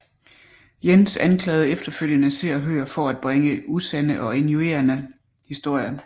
Jens anklagede efterfølgende Se og Hør for bringe usande og injurierende historier